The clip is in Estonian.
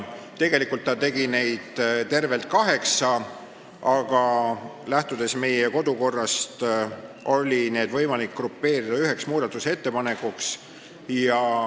Tegelikult tegi ta tervelt kaheksa ettepanekut, aga kodukorrast lähtudes oli võimalik need kokku panna üheks muudatusettepanekuks.